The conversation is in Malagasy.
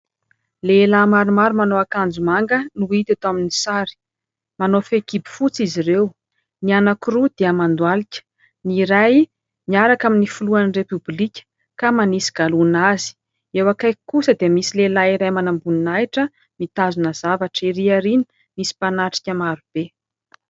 Lehilahy maromaro manao akanjo manga noho hita eto amin'ny sary, manao fehi-kibo fotsy izy ireo, ny anankiroa dia mandoalika, ny iray miaraka amin'ny filohan'i repoblika ka manisy galoana azy, eo akaiky kosa dia misy lehilahy iray manam-boninahitra mitazona zavatra, ery aoriana misy mpanatrika marobe.